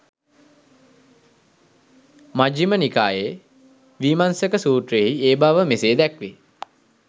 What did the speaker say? මජ්ඣිම නිකායේ වීමංසක සූත්‍රයෙහි ඒ බව මෙසේ දැක්වේ.